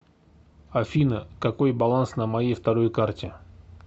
афина какой баланс на моей второй карте